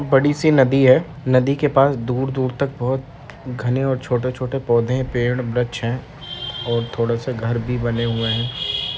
बड़ी सी नदी है। नदी के पास दूर-दूर तक बहोत घने और छोटे-छोटे पौधे पेंड वृक्ष हैं और थोड़े से घर भी बने हुए है।